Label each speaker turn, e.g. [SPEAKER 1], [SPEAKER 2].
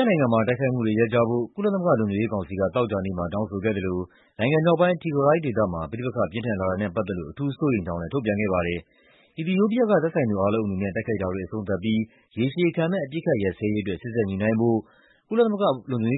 [SPEAKER 1] ားနိုင်ငံမှာ တိုက်ခိုက်မှုတွေ ရပ်ကြဖို့ ကုလသမဂ္ဂ လုံခြုံရေးကောင်စီက သောကြာနေ့မှာ တောင်းဆိုခဲ့သလို နိုင်ငံမြောက်ပိုင်း Tigray ဒေသမှာ ပဋိပက္ခ ပြင်းထန်လာတာနဲ့ ပတ်သက်လို့ အထူးစိုးရိမ်ကြောင်းလည်း ထုတ်ပြန်ခဲ့ပါတယ်။ အီသီယိုးပီးယားက သက်ဆိုင်သူအားလုံး အနေနဲ့ "တိုက်ခိုက်တာတွေ အဆုံးသတ်ပြီး ရေရှည်ခံမယ့် အပစ်အခတ် ရပ်စဲရေးအတွက် စေ့စပ်ညှိနှိုင်းဖို့" အဖွဲ့ဝင် ၁၅ နို